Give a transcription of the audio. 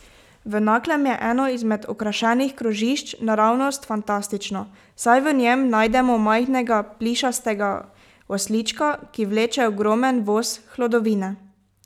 V Naklem je eno izmed okrašenih krožišč naravnost fantastično, saj v njem najdemo majhnega plišastega oslička, ki vleče ogromen voz hlodovine.